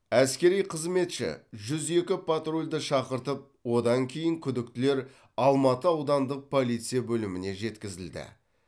әскери қызметші жүз екі патрульді шақыртып одан кейін күдіктілер алматы аудандық полиция бөліміне жеткізілді